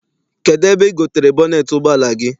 Kedụ ebe I gotere bọneet ụgbọala gị?